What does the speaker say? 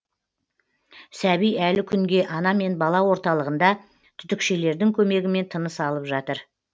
сәби әлі күнге ана мен бала орталығында түтікшелердің көмегімен тыныс алып жатыр